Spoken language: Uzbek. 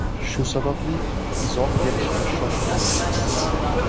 Shu sababli izoh berishga shoshilmayapmiz.